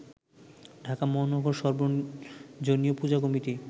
ঢাকা মহানগর সর্বজনীন পূজা কমিটি